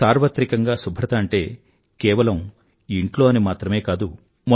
సార్వత్రికంగా శుభ్రత అంటే కేవలం ఇంట్లో అని మాత్రమే కాదు